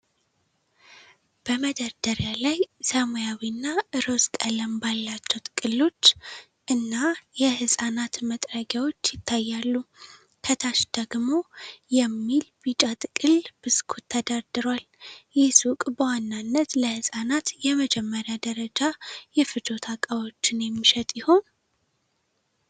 በመደርደሪያ ላይ ሰማያዊና ሮዝ ቀለም ባላቸው ጥቅሎች 'goodbaby' እና 'abc' የሕፃናት መጥረጊያዎች ይታያሉ። ከታች ደግሞ 'Nurten Petit Beurry' የሚል ቢጫ ጥቅል ብስኩት ተደርድሯል። ይህ ሱቅ በዋናነት ለሕፃናት የመጀመሪያ ደረጃ የፍጆታ ዕቃዎችን የሚሸጥ ይሆን?